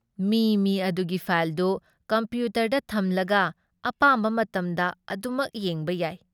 ꯃꯤ ꯃꯤ ꯑꯗꯨꯒꯤ ꯐꯥꯏꯜꯗꯨ ꯀꯝꯄ꯭ꯌꯨꯇꯔꯗ ꯊꯝꯂꯒ ꯑꯄꯥꯝꯕ ꯃꯇꯝꯗ ꯑꯗꯨꯃꯛ ꯌꯦꯡꯕ ꯌꯥꯏ ꯫